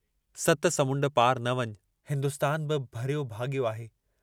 सत समुण्ड पार न वञ, हिन्दुस्तान बि भरियो भागयो आहे।